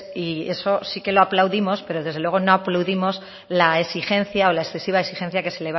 y eso sí que lo aplaudimos pero desde luego no aplaudimos la exigencia o la excesiva exigencia que se